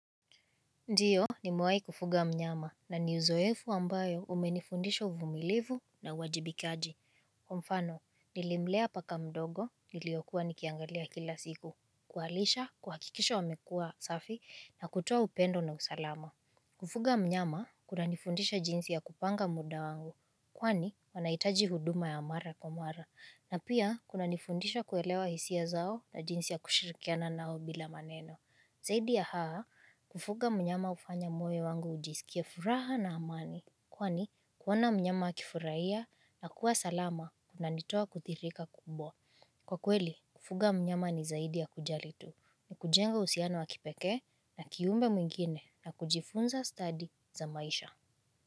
Ndio nimewahi kufuga mnyama na ni uzoefu ambayo umenifundisha uvumilivu na uwajibikaji. Mfano, nilimlea paka mdogo niliyokuwa nikiangalia kila siku. Kuwalisha, kuhakikisha wamekua safi, na kutoa upendo na usalama. Kufuga mnyama kunanifundisha jinsi ya kupanga muda wangu. Kwani wanahitaji huduma ya mara kwa mara. Na pia kunanifundisha kuelewa hisia zao na jinsi ya kushirikiana nao bila maneno. Zaidi ya haya, kufuga mnyama hufanya moyo wangu ujisikie furaha na amani. Kwani, kuona mnyama akifurahia na kuwa salama kunanitoa kuthirika kubwa. Kwa kweli, kufuga mnyama ni zaidi ya kujali tu. Ni kujenga uhusiano wa kipekee na kiumbe mwingine na kujifunza stadi za maisha.